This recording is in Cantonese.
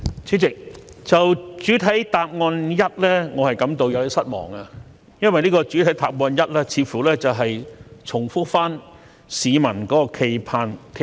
主席，對於主體答覆第一部分，我感到有點失望，因為主體答覆第一部分似乎重複市民的冀盼。